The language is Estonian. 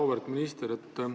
Auväärt minister!